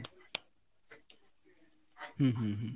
ହୁଁ ହୁଁ ହୁଁ